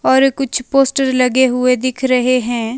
और कुछ पोस्टर लगे हुए दिख रहे हैं।